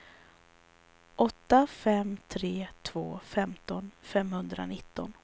åtta fem tre två femton femhundranitton